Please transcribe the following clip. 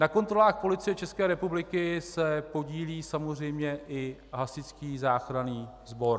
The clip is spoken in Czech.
Na kontrolách Policie České republiky se podílí samozřejmě i Hasičský záchranný sbor.